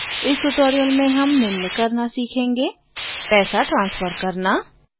इस ट्यूटोरियल में हम निम्न करना सीखेंगे पैसा ट्रान्सफर करना और